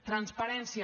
transparència